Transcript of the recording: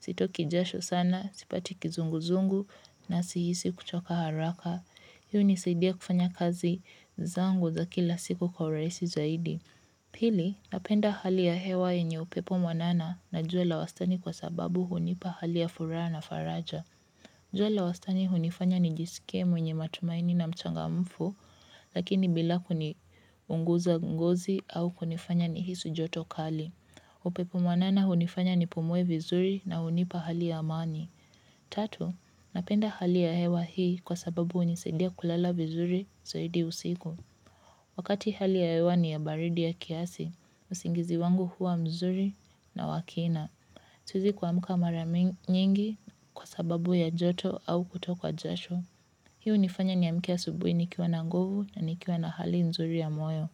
sitoki jasho sana, sipati kizunguzungu na sihisi kuchoka haraka. Hii hunisaidia kufanya kazi zangu za kila siku kwa urahisi zaidi. Pili, napenda hali ya hewa yenye upepo mwanana na jua la wastani kwa sababu hunipa hali ya furaha na faraja. Jua la wastani hunifanya nijisikie mwenye matumaini na mchangamfu lakini bila kiniunguza ngozi au kunifanya nihisi joto kali upepo mwanana hunifanya nipumue vizuri na hunipa hali ya amani. Tatu, napenda hali ya hewa hii kwa sababu hunisaidia kulala vizuri zaidi usiku. Wakati hali ya hewa ni ya baridi ya kiasi, usingizi wangu huwa mzuri na wa kina. Siezi kuamka mara nyingi kwa sababu ya joto au kutokwa jasho. Hii hunifanya niamke asubuhi nikiwa na nguvu na nikiwa na hali nzuri ya moyo.